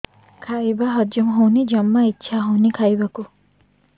ଖାଇବା ହଜମ ହଉନି ଜମା ଇଛା ହଉନି ଖାଇବାକୁ